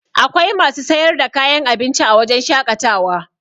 Akwai masu sayar da kayan abinci a wajen shaƙatawa